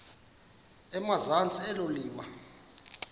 emazantsi elo liwa